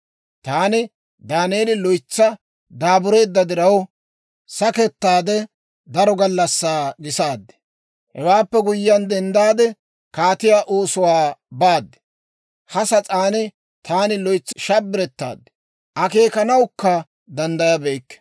Taani Daaneeli, loytsi daabureedda diraw, sakettaade daro gallassaa gisaad. Hewaappe guyyiyaan denddaade, kaatiyaa oosuwaa baad. Ha sas'aan taani loytsi shabbirettaad; akeekanawukka danddayabeykke.